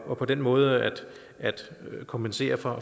og på den måde kompensere for